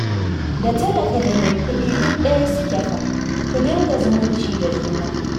Da talaka da mai kuɗi duk ɗaya suke fa, ku dinga zumunci da juna